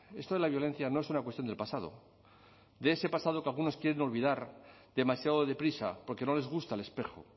esto de la violencia no es una cuestión del pasado de ese pasado que algunos quieren olvidar demasiado deprisa porque no les gusta el espejo